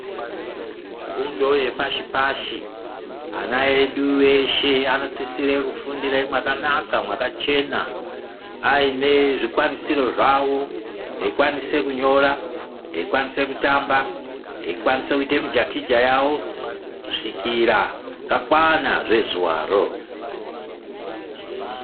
Fundo yepashi pashi ana edu eshe anosisire kufundira mwakanaka mwakachena aine zvikwanisiro zvavo veikwanise kunyora, veikwanisa kutamba veikwanisa kuita mijakija yavo kusvikira zvakwana zvezuvaro.